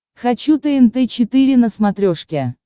хочу тнт четыре на смотрешке